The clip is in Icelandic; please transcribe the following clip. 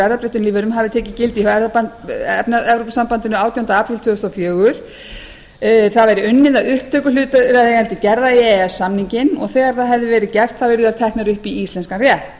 erfðabreyttum lífverum hafi tekið gildi hjá evrópusambandinu átjánda apríl tvö þúsund og fjögur það væri unnið að upptöku hlutaðeigandi gerða í e e s samninginn og þegar það hefði verið gert yrðu þær teknar upp í íslenskan rétt